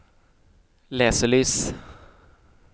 leselys